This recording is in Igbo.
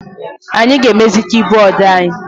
Anyị ga-emezi kibọọdụ anyị.